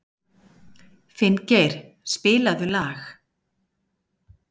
Finngeir, spilaðu lag.